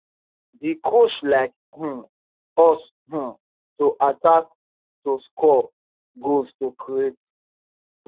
di coach like um us um to attack to score goals to create